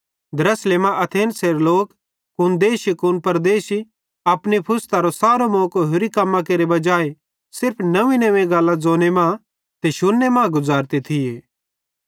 द्रासले मां एथेंसेरे लोक कुन देशी कुन परदेशी अपनी फुरस्तरो सारो मौको होरि कम्मां केरे बजाहे सिर्फ नव्वींनव्वीं गल्लां ज़ोने ते शुन्ने मां गुज़ारते थिये